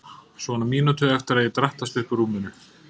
Svona mínútu eftir að ég drattast upp úr rúminu.